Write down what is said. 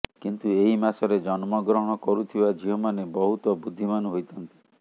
କିନ୍ତୁ ଏହି ମାସରେ ଜନ୍ମଗ୍ରହଣ କରୁଥିବା ଝିଅମାନେ ବହୁତ ବୁଦ୍ଧିମାନ ହୋଇଥାନ୍ତି